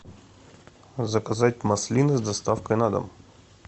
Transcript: заказать маслины с доставкой на дом